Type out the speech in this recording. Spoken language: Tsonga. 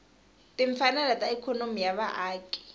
timfanelo ta ikhonomi ya vaaki